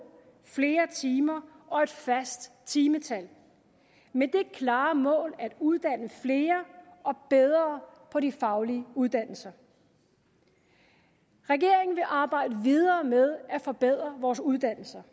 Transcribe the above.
flere timer og et fast timetal med det klare mål at uddanne flere og bedre på de faglige uddannelser regeringen vil arbejde videre med at forbedre vores uddannelser